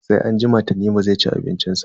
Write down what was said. Sai anjima Tanimu zai ci abincin sa.